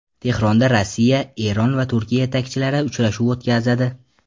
Tehronda Rossiya, Eron va Turkiya yetakchilari uchrashuv o‘tkazadi.